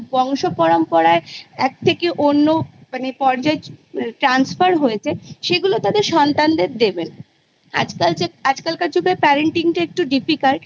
বংশ পরম্পরায় এক থেকে অন্য মানে পর্যায় Transfer হয়েছে সেগুলো তাদের সন্তানদের দেবেনা আজকাল যে আজকালকার যুগের Parenting টা একটু Difficult